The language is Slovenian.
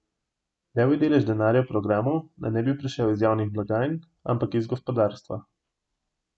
Levji delež denarja v programu naj ne bi prišel iz javnih blagajn, ampak iz gospodarstva.